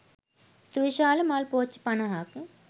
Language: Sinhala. සුවිශාල මල් පෝච්චි පනහක්